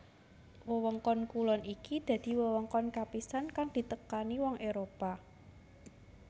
Wewengkon kulon iki dadi wewengkon kapisan kang ditekani wong Éropah